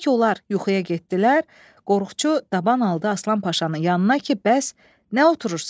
Elə ki, onlar yuxuya getdilər, qorxucu daban aldı Aslan Paşanın yanına ki, bəs nə oturursan?